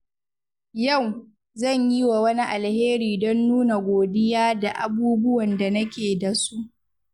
Yau, zan yi wa wani alheri don nuna godiya da abubuwan da nake da su.